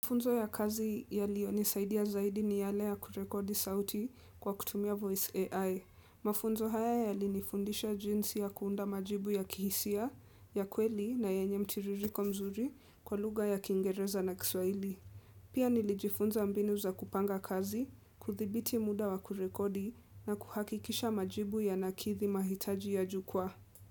Mafunzo ya kazi yaliyonisaidia zaidi ni yale ya kurekodi sauti kwa kutumia voice AI. Mafunzo haya yalinifundisha jinsi ya kuunda majibu ya kihisia, ya kweli na yenye mtiririko mzuri kwa lugha ya kiingereza na kiswaili. Pia nilijifunza mbinu za kupanga kazi, kudhibiti muda wa kurekodi na kuhakikisha majibu ya nakidhi mahitaji ya jukwaa.